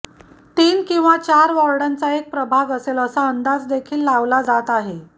तीन किंवा चार वॉर्डांचा एक प्रभाग असेल असा अंदाज देखील लावला जात आहे